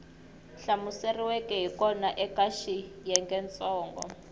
hlamuseriweke hi kona eka xiyengentsongo